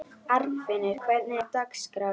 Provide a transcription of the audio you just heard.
Arnfinnur, hvernig er dagskráin?